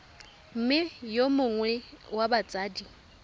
mme yo mongwe wa batsadi